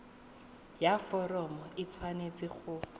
ya foromo e tshwanetse go